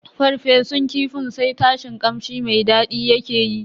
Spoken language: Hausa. farfesun kifin sai tashin kamshi mai daɗi yake yi.